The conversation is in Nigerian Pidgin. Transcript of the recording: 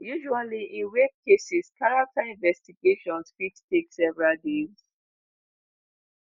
usually in rape cases character investigations fit take several days.